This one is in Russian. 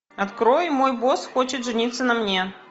открой мой босс хочет жениться на мне